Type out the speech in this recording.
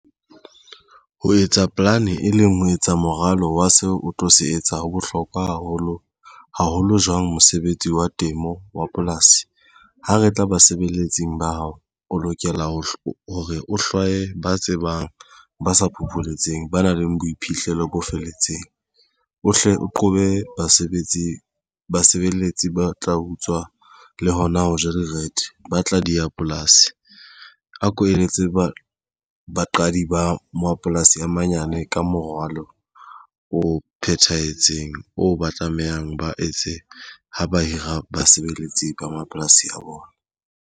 Ho etsa plan e leng ho etsa moralo wa seo o tlo se etsa. Ho bohlokwa haholo haholo jwang mosebetsi wa temo wa polasi. Ha re tla basebeletsi ba hao o lokela ho o hlwaye ba tsebang ba sa phopholetseng ba nang le boiphihlelo bo felletseng o hle o qobe basebetsi, basebeletsi ba tla utswa le hona ho ja direthe ba tla di ya polasi. A ko eletse baqadi di ba mapolasi a manyane ka moralo o phethahetseng. O ba tlamehang ba etse ho ba hira basebeletsi ba mapolasi a bona.